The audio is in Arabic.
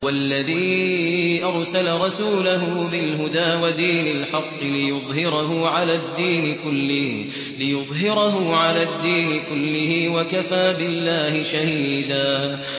هُوَ الَّذِي أَرْسَلَ رَسُولَهُ بِالْهُدَىٰ وَدِينِ الْحَقِّ لِيُظْهِرَهُ عَلَى الدِّينِ كُلِّهِ ۚ وَكَفَىٰ بِاللَّهِ شَهِيدًا